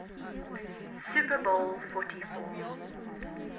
super bowl xliv